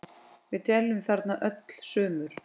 Við dveljum þarna öll sumur.